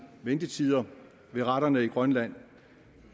ventetider ved retterne i grønland